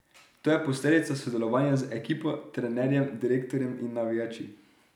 To je posledica sodelovanja z ekipo, trenerjem, direktorjem in navijači.